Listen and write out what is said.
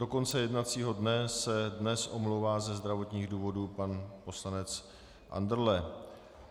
Do konce jednacího dne se dnes omlouvá ze zdravotních důvodů pan poslanec Andrle.